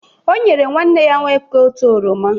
O nyere nwanne ya nwoke otu oroma.